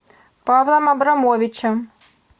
павлом абрамовичем